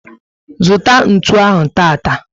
Zụta ntụ ahụ tata!